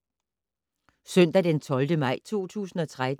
Søndag d. 12. maj 2013